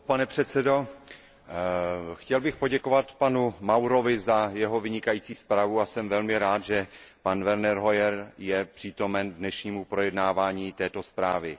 Pane předsedající, chtěl bych poděkovat panu Maurovi za jeho vynikající zprávu a jsem velmi rád, že pan Werner Hoyer je přítomen dnešnímu projednávání této zprávy.